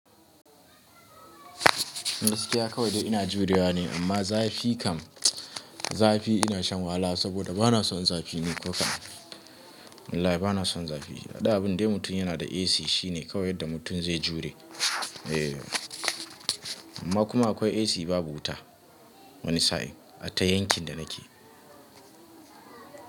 Gaskiya kawai dai ina juriya ne amma zafi kam, zafi ina shan wahala saboda bana son zafi ni ko kam. Wallahi bana son zafi. Dan abun dai mutum yana da AC shine kawai yadda mutum zai jure. Eh, amma kuma akwai AC babu wuta wani sa'in, ata yankin da nake.